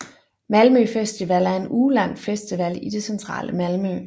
Malmø festival er en ugelang festival i det centrale Malmø